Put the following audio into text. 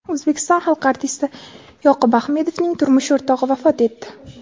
O‘zbekiston xalq artisti Yoqub Ahmedovning turmush o‘rtog‘i vafot etdi.